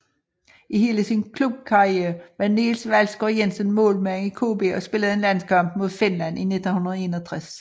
I hele sin klubkarriere var Niels Waldsgaard Jensen målmand i KB og spillede en landskamp mod Finland 1961